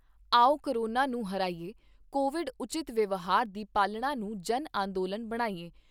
ਆਓ ਕੋਰੋਨਾ ਨੂੰ ਹਰਾਈਏਂ, ਕੋਵਿਡ ਉਚਿੱਤ ਵਿਵਹਾਰ ਦੀ ਪਾਲਣਾ ਨੂੰ ਜਨ ਅੰਦੋਲਨ ਬਣਾਈਏਂ।